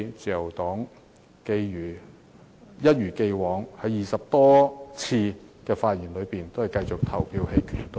自由黨會一如既往，一如過去20多次的議案辯論，繼續投棄權票。